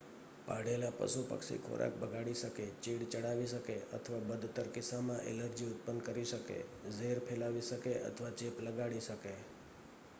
પાળેલાં પશુ-પક્ષી ખોરાક બગાડી શકે ચીડ ચડાવી શકે અથવા બદતર કિસ્સામાં ઍલર્જી ઉત્પન્ન કરી શકે ઝેર ફેલાવી શકે અથવા ચેપ લગાડી શકે